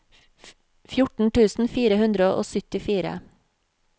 fjorten tusen fire hundre og syttifire